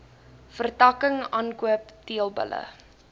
vertakking aankoop teelbulle